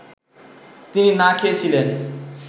তিনি না খেয়ে ছিলেন